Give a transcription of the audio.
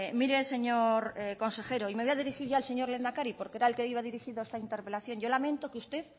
mire señor consejero y me voy a dirigir ya al señor lehendakari porque era al que iba dirigido esta interpelación yo lamento que usted